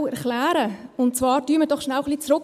Blicken wir doch kurz zurück.